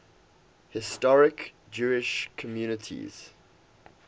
historic jewish communities